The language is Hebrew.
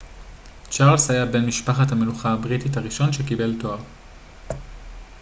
צ'רלס היה בן משפחת המלוכה הבריטית הראשון שקיבל תואר